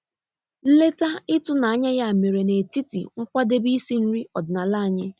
Nleta ịtụnanya ya mere n'etiti nkwadebe isi nri ọdịnala anyị.